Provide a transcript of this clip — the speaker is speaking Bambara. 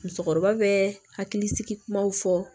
Musokɔrɔba bɛ hakili sigi kumaw fɔ